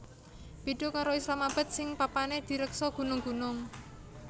Béda karo Islamabad sing papané direksa gunung gunung